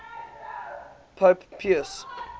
pope pius